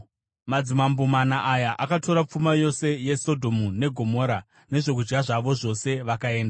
Madzimambo mana aya akatora pfuma yose yeSodhomu neGomora nezvokudya zvavo zvose vakaenda.